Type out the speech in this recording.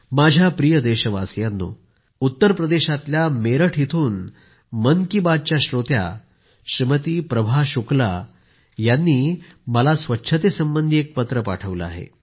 माझ्या प्रिय देशवासियांनो उत्तर प्रदेशातल्या मेरठ इथून मन की बात च्या श्रोता श्रीमती प्रभा शुक्ला यांना मला स्वच्छतेसंबंधी एक पत्र पाठवले आहे